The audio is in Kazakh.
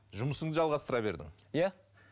жұмысыңды жалғастыра бердің иә